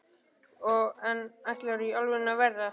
en hvað ætlarðu í alvörunni að verða?